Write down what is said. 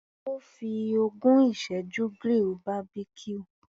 Ó fi ogún ìsẹ́jú grill Barbecue.